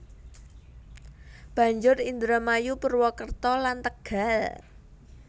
Banjur Indramayu Purwokerto lan Tegal